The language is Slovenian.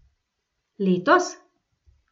Letos?